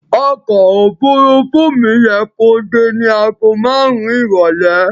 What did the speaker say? Ọkọ̀ òfuurufú mi yẹ kó dé ní àgó márùn-ún ìrọ̀lẹ́.